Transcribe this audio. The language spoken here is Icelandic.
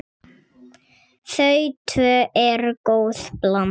Þau tvö eru góð blanda.